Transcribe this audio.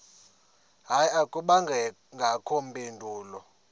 hayi akubangakho mpendulo